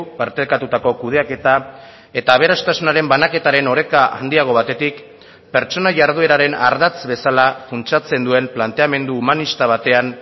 partekatutako kudeaketa eta aberastasunaren banaketaren oreka handiago batetik pertsona jardueraren ardatz bezala funtsatzen duen planteamendu humanista batean